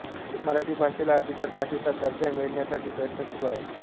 मराठी भाषेला अभिजात भाषेचा दर्जा मिळण्यासाठी प्रयत्न सुरू आहेत